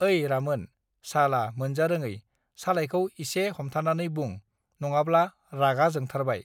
ऐ रामोन साला मोनजा रोङै सालाइखौ इसे हमथानानै बुं नङाब्ला रागा जोंथारबाय